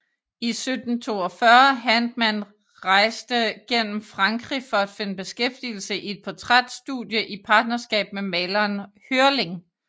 I 1742 Handmann rejste gennem Frankrig at finde beskæftigelse i et portræt studie i partnerskab med maleren Hörling